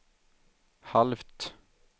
halvt